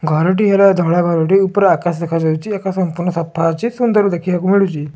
ଘର ଟି ହେଲା ଧଳା ଘରଟି ଉପରେ ଆକାଶ ଦେଖାଯାଉଚି। ଆକାଶ ସମ୍ପୂଣ ସଫା ଅଛି। ସୁନ୍ଦର ଦେଖିବାକୁ ମିଳୁଚି।